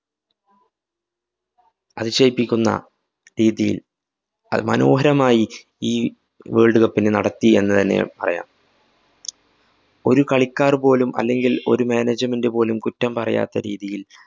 അതിശയിപ്പിക്കുന്ന രീതിയില്‍ മനോഹരമായി ഈ world cup നെ നടത്തി എന്നുതന്നെ പറയാം. ഒരു കളിക്കാര്‍ പോലും അല്ലെങ്കില്‍ ഒരു management പോലും കുറ്റം പറയാത്ത രീതിയില്‍